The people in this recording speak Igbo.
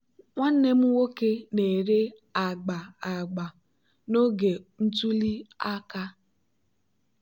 nwanne m nwoke na-ere agba agba n'oge ntuli aka.